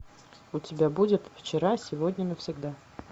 у тебя будет вчера сегодня навсегда